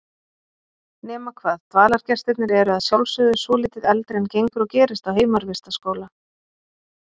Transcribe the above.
Nema hvað dvalargestirnir eru að sjálfsögðu svolítið eldri en gengur og gerist á heimavistarskóla.